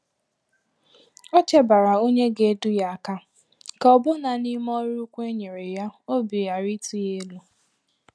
Ọ chebara ònye ga-edu ya aka, ka ọbụna n’ime ọrụ ukwu e nyere ya, obi ghara ịtụ ya elu.